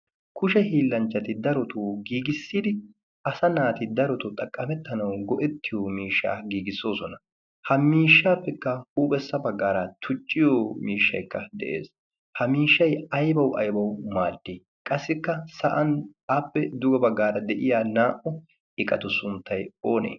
kushe hiillanchchati darotoo giigissidi asa naati darotoo xaqqamettanau go'ettiyo miishshaa giigissoosona ha miishshaappekka huuphessa baggaara tucciyo miishshaikka de'ees. ha miishshay aibau aibau maaddi qassikka sa'an appe duga baggaara de'iya naa'u iqatu suntta oonee?